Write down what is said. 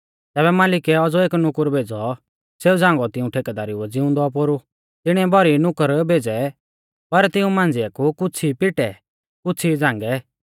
तैबै मालिकै औज़ौ एक नुकुर भेज़ौ सेऊ झ़ांगौ तिऊं ठेकेदारुऐ ज़िउंदौ पोरु तिणिऐ भौरी नुकुर भेज़ै पर तिऊं मांझ़िऐ कु कुछ़ ई पिटै कुछ़ ई झ़ांगै